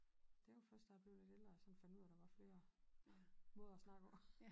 Det var først da jeg blev lidt ældre sådan fandt ud af der var flere måder at snakke på